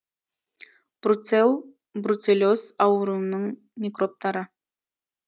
бруцелл бруцеллез ауруының микробтары